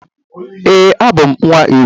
Ee, abum nwa igwe.